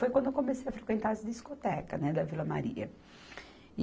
Foi quando eu comecei a frequentar as discotecas, né, da Vila Maria.